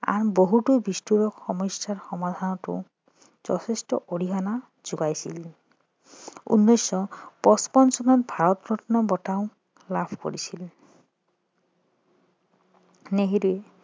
আন বহুতো বিষ্ফোৰক সমস্যা সমাধানৰতো যথেষ্ট অৰিহণা যোগাইছিল উনৈছশ পছপন্ন চনত ভাৰতৰত্ন বটাও লাভ কৰিছিল নেহেৰুৱে